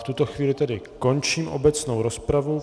V tuto chvíli tedy končím obecnou rozpravu.